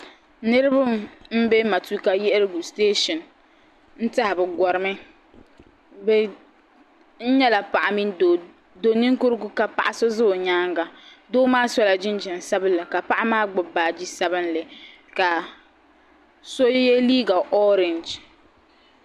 Niribi m be matuuka yiɣirigu siteeshini n tɛha bɛ gɔrimi n nyala paɣa mini doninkurugu ka paɣa so za o nyaaŋa doo maa sola jinjam sabinli ka paɣa maa gbubi baagi sabinli ka so ye liiga orengi.